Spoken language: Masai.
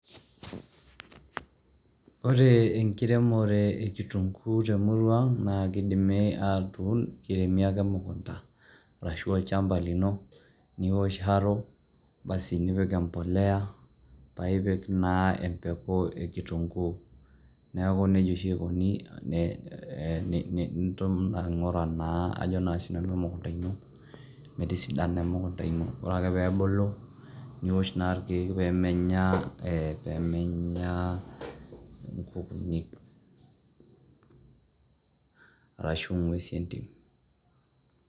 Ore enkiremore e kitunguu te murrua aang' naake idimi atuun kiremi ake emukunda arashu olchamba lino niwosh harrow basi nipik embolea, pae ipik naa embeku e kitunguu. Neeku neija oshi ikuni um nitum aing'ura naa ajo naa sinanu emukunda ino mitisidana emukunda ino. Ore ake peebulu niwosh ake irkeek pee menya ee pee menya nkukuuni arashu ng'uesi e ntim.